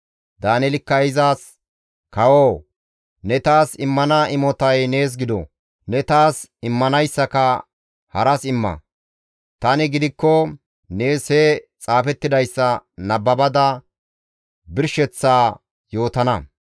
Daaneelikka izas, «Kawoo! Ne taas immana imotay nees gido; ne taas immanayssaka haras imma; tani gidikko nees he xaafettidayssa nababada birsheththaa nees yootana.